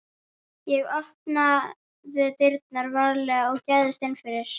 Ég opnaði dyrnar varlega og gægðist inn fyrir.